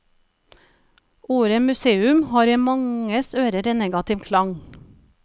Ordet museum har i manges ører en negativ klang.